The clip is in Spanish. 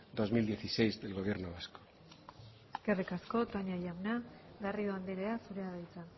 dos mil dieciséis del gobierno vasco eskerrik asko toña jauna garrido andrea zurea da hitza